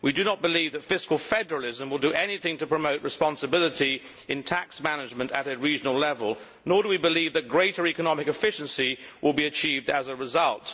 We do not believe that fiscal federalism will do anything to promote responsibility in tax management at a regional level, nor do we believe that greater economic efficiency will be achieved as a result.